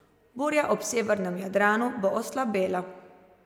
Burja ob severnem Jadranu bo oslabela.